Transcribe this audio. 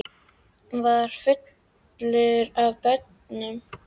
Hann var fullur af börnum og trjám.